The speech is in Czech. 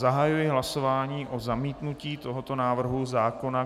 Zahajuji hlasování o zamítnutí tohoto návrhu zákona.